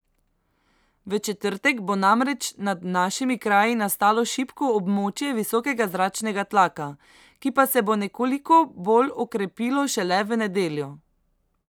V četrtek bo namreč nad našimi kraji nastalo šibko območje visokega zračnega tlaka, ki pa se bo nekoliko bolj okrepilo šele v nedeljo.